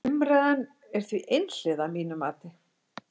Umræðan er því einhliða að mínu mati.